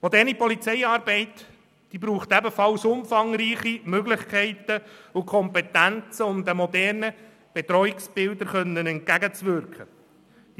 Moderne Polizeiarbeit braucht umfangreiche Möglichkeiten und Kompetenzen, um modernen Bedrohungsbildern entgegenwirken zu können.